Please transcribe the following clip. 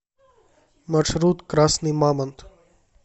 маршрут красный мамонт